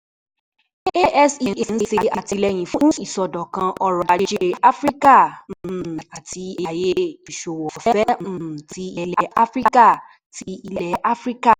ASEA n ṣe atilẹyin fun isọdọkan ọrọ-aje Afirika um ati Aaye Iṣowo Ọfẹ um ti Ilẹ Afirika. ti Ilẹ Afirika.